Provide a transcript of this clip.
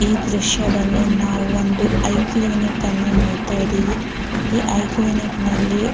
ಈ ದ್ರಶ್ಯದಲ್ಲಿ ನಾವು ಒಂದು ಐ ಕ್ಲಿನಿಕ್ ನೋಡತಾ ಇದೀವಿ ಈ ಐ ಕ್ಲಿನಿಕೆ ನಲ್ಲಿ --